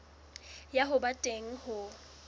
ya ho ba teng ho